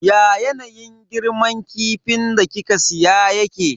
Ya yanayin girman kifin da kika siya yake?